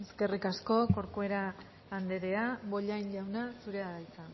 eskerrik asko corcuera anderea bollain jauna zurea da hitza